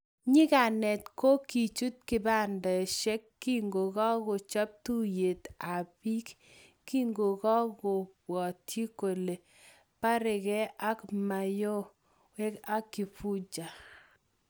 nyikanet ko kichut kibandesheck kokaakochob tuyet ab bik, kimokobwati kole barake ak mayowe ak kifuja